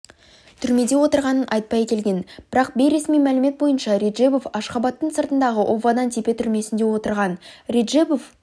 түрмеде отырғанын айтпай келген бірақ бейресми мәлімет бойынша реджебов ашғабадтың сыртындағы овадан-депе түрмесінде отырған реджебов